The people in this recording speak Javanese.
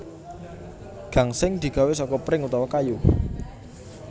Gangsing digawé seka pring utawa kayu